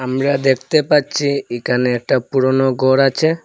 আমরা দেখতে পাচ্ছি একানে একটা পুরোনো গর আছে।